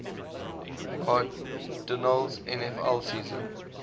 cardinals nfl season